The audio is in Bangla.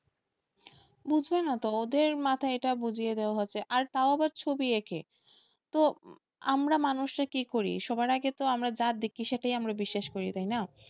বুঝবে না তো, ওদের মাথায় এটা বুঝিয়ে দেওয়া হয়েছে তাও আবার ছবি এঁকে তো আমরা মানুষরা কি করি? সবার আগে যেটা দেখি সেটা আমরা বিশ্বাস করি তাইনা,